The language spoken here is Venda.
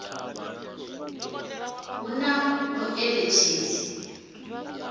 ner a hu na muṋetshedzi